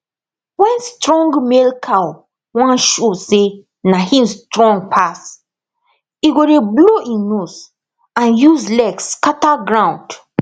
wen strong male cow wan show say na him strong pass e go dey blow im nose and use leg scatter ground